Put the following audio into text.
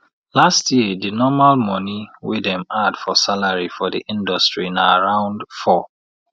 last year de normal monie wey dem add for salary for di industry na around 4